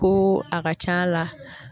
Ko a ka c'a la